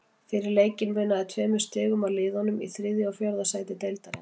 Fyrir leikinn munaði tveimur stigum á liðunum í þriðja og fjórða sæti deildarinnar.